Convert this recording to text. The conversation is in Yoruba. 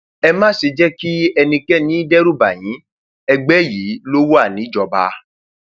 ẹ má ṣe jẹ kí ẹnikẹni dẹrùbà yín ẹgbẹ yín lọ wà níjọba